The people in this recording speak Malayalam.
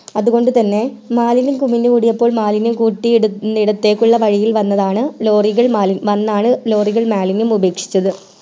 അത്കൊണ്ട് തന്നെ മാലിന്യം കുമിഞ്ഞു കൂടിയപ്പോൾ മാലിന്യം കൂട്ടി എടുത്തേക്കുള്ള വഴി വന്നാണ് lorry കൾ മാലിന്യം ഉപേക്ഷിച്ചത്